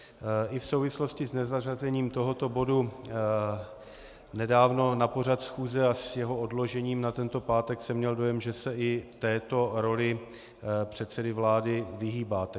I v souvislosti s nezařazením tohoto bodu nedávno na pořad schůze a s jeho odložením na tento pátek jsem měl dojem, že se i této roli předsedy vlády vyhýbáte.